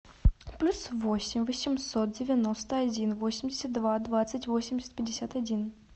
плюс восемь восемьсот девяносто один восемьдесят два двадцать восемьдесят пятьдесят один